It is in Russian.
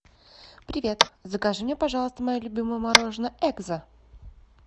привет закажи мне пожалуйста мое любимое мороженое экзо